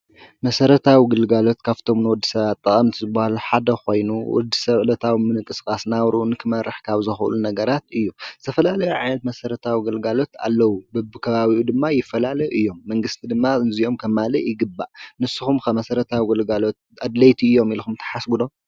መሰረታዊ ግልጋሎት ካብቶም ንወዲሰባት ጠቀምቲ ዝበሃሉ ሓደ ኮይኑ ወድሰብ ዕለታዊ ምንቅስቃስ ናብርኡ ንክመርሕ ካብ ዘክእሉ ነገራት እዩ:: ዝተፈላለዩ ዓይነት መሰረታዊ ግልጋሎት ኣለዉ በቢ ከባቢኡ ድማ ይፈላለዩ እዮም መንግስቲ ድማ ነዚኦም ከማልእ ይግባእ ንስኩም ከ መሰረታዊ ግልጋሎት ኣድለይቲ እዮም ኢልኩም ትሓስቡ ዶ ?